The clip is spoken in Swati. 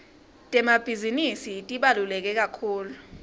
temabhizinisi tibaluleke kakhulu